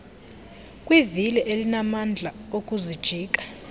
kwivili elinamandla okuzijika